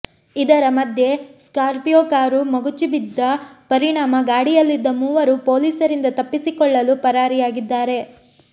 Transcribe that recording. ಇದರ ಮಧ್ಯೆ Scorpio car ಮಗುಚಿ ಬಿದ್ದ ಪರಿಣಾಮ ಗಾಡಿಯಲ್ಲಿದ್ದ ಮೂವರು ಪೊಲೀಸರಿಂದ ತಪ್ಪಿಸಿಕೊಳ್ಳಲು ಪರಾರಿಯಾಗಿದ್ದಾರೆ